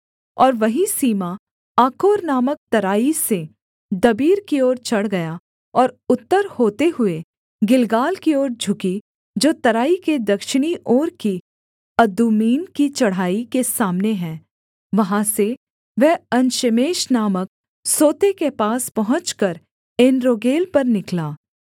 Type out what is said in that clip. और वही सीमा आकोर नामक तराई से दबीर की ओर चढ़ गया और उत्तर होते हुए गिलगाल की ओर झुकी जो तराई के दक्षिणी ओर की अदुम्मीम की चढ़ाई के सामने है वहाँ से वह एनशेमेश नामक सोते के पास पहुँचकर एनरोगेल पर निकला